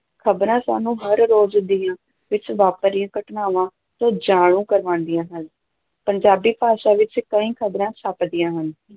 ਖ਼ਬਰਾਂ ਸਾਨੂੰ ਹਰ-ਰੋਜ਼ ਦੁਨੀਆ ਵਿੱਚ ਵਾਪਰ ਰਹੀਆਂ ਘਟਨਾਵਾਂ ਤੋਂ ਜਾਣੂ ਕਰਵਾਉਂਦੀਆਂ ਹਨ, ਪੰਜਾਬੀ ਭਾਸ਼ਾ ਵਿੱਚ ਕਈ ਖ਼ਬਰਾਂ ਛਪਦੀਆਂ ਹਨ।